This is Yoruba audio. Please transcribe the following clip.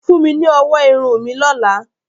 fún mí ní ọwọ́ Irun mi lọla.